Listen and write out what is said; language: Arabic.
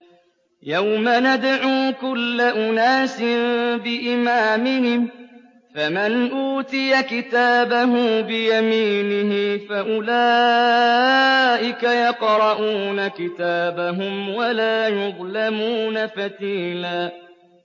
يَوْمَ نَدْعُو كُلَّ أُنَاسٍ بِإِمَامِهِمْ ۖ فَمَنْ أُوتِيَ كِتَابَهُ بِيَمِينِهِ فَأُولَٰئِكَ يَقْرَءُونَ كِتَابَهُمْ وَلَا يُظْلَمُونَ فَتِيلًا